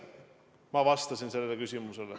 Ma vastasin sellele küsimusele.